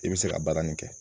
I bɛ se ka baara nin kɛ